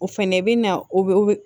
O fɛnɛ bɛ na o bɛ